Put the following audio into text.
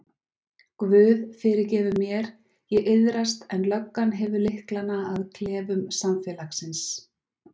Guð fyrirgefur mér, ég iðrast en löggan hefur lyklana að klefum samfélagsins.